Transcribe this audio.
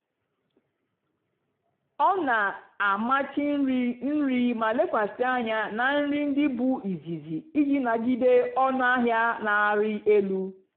ọ́ nà-àmàchì nrì nrì mà lèkwàsị́ ànyá nà nrì ndí bụ́ ízìzì ìjì nàgìdé ónú àhịá nà-àrị́ èlú.